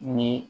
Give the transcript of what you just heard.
Ni